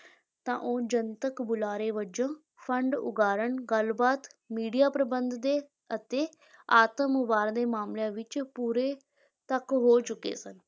ਤਾਂ ਉਹ ਜਨਤਕ ਬੁਲਾਰੇ ਵਜੋਂ, ਫੰਡ ਉਗਰਾਹੁਣ, ਗੱਲਬਾਤ, ਮੀਡੀਆ ਪ੍ਰਬੰਧ ਦੇ, ਅਤੇ ਆਤਮ-ਉਭਾਰ ਦੇ ਮਾਮਲਿਆਂ ਵਿੱਚ ਪੂਰੇ ਤੱਕ ਹੋ ਚੁੱਕੇ ਸਨ।